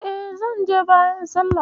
E, zan je bayan sallah.